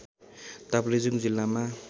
ताप्लेजुङ जिल्लामा